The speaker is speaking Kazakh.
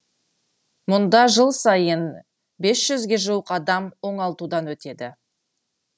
мұнда жыл сайын бес жүзге жуық адам оңалтудан өтеді